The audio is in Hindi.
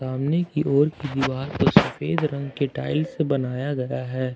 सामने की ओर की दीवार पे सफेद रंग के टाइल्स बनाया गया है ।